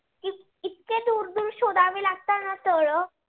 ना तल.